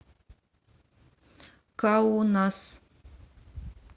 каунас